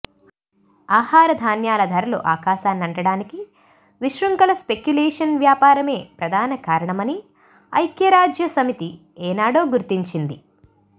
ఆహార ధాన్యాల ధరలు ఆకాశాన్నంటడానికి విశృంఖల స్పెక్యులేషన్ వ్యాపారమే ప్రధానకారణమని ఐక్య రాజ్యసమితి ఏనాడో గుర్తించింది